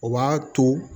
O b'a to